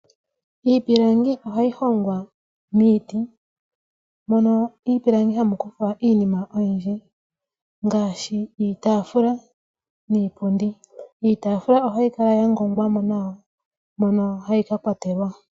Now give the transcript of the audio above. Iipilangi ohayi hongwa miiti, mono miipilangi hamu kuthwa iinima oyindji ngaashi iitaafula niipundi. Iitaafula ohayi kala ya ngongwa mo nawa, mono hayi ka kwatelwa.